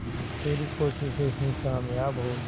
तेरी कोशिशें ही कामयाब होंगी